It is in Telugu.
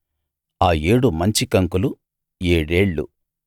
ఆ ఏడు మంచికంకులు ఏడేళ్ళు